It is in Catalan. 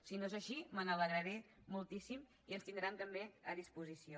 si no és així me n’alegraré moltíssim i ens tindran també a disposició